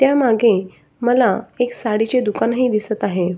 त्या मागे मला एक साडीचे दुकान ही दिसत आहे.